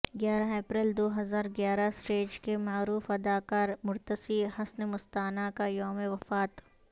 گیارہ اپریل دو ہزار گیارہ اسٹیج کے معروف اداکار مرتصی حسن مستانہ کا یوم وفات